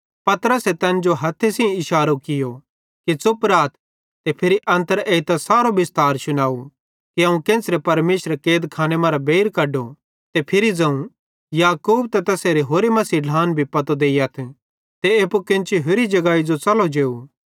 पतरसे तैन जो हथ्थे सेइं इशारो कियो कि च़ुप राथ ते फिरी अन्तर एइतां सारो बिस्तार शुनाव कि अवं केन्च़रे परमेशरे कैदखाने मरां बेइर कढो ते फिरी ज़ोवं याकूबे त तैसेरे होरि मसीह ढ्लान भी पतो देइयथ ते एप्पू केन्ची होरि जगाई जो च़लो जेव